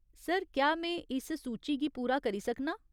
Sir, क्या में, इस सूची गी पूरा करी सकनां ?